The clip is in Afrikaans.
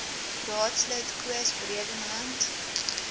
raadslid koos bredenhand